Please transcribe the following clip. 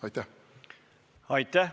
Aitäh!